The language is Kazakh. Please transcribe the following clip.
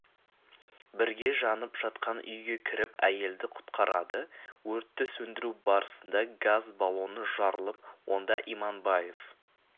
бірге жанып жатқан үйге кіріп әйелді құтқарады өртті сөндіру барысында газ баллоны жарылып онда иманбаев